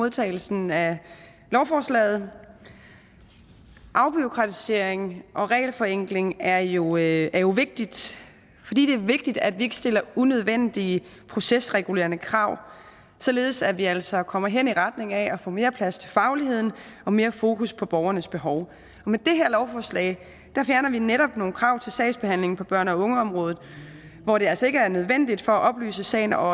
modtagelsen af lovforslaget afbureaukratisering og regelforenkling er jo er jo vigtigt fordi det er vigtigt at vi ikke stiller unødvendige procesregulerende krav således at vi altså kommer hen i retning af at få mere plads til fagligheden og mere fokus på borgernes behov og med det her lovforslag fjerner vi netop nogle krav til sagsbehandling på børne og ungeområdet hvor det altså ikke er nødvendigt for at oplyse sagen og